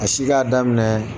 A si k'a daminɛ